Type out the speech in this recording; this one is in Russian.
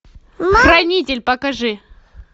хранитель покажи